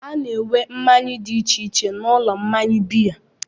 A na-ere mmanya dị iche iche n'ụlọ mmanya biya.